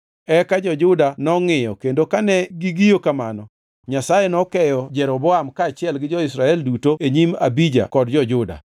eka jo-Juda nongʼiyo kendo kane gigiyo kamano Nyasaye nokeyo Jeroboam kaachiel gi jo-Israel duto e nyim Abija kod jo-Juda.